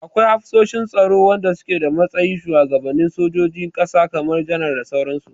Akwai hafsoshin tsaro wanda suke a matsayin shuwagabanin sojojin ƙasa kamar janar da sauran su.